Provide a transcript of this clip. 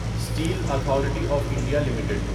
steel authority of India limited